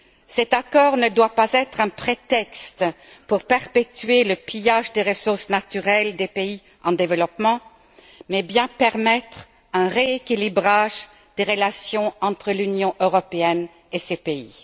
Les accords ne doivent pas être un prétexte pour perpétuer le pillage des ressources naturelles des pays en développement, mais bien permettre un rééquilibrage des relations entre l'Union européenne et ces pays.